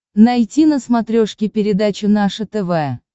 найти на смотрешке передачу наше тв